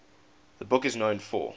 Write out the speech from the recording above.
the book is known for